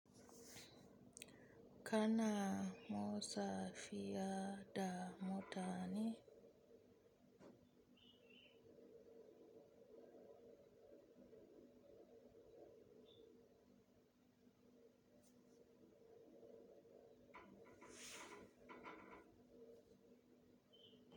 Kana motsa fiya da mota ne?